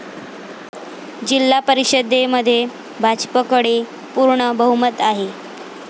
जिल्हा परिषदेमध्ये भाजपकडे पूर्ण बहुमत आहे.